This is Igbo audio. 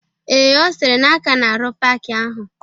Ee, Ọ sịrị na aka na-arụ paaki ahụ